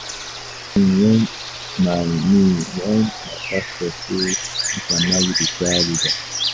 E shock me wen my me wen my pastor say make I marry di choir leader.